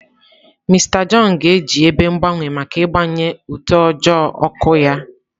Mister John ga-eji ebe mgbanwe maka ịgbanye utoojoo ọkụ ya.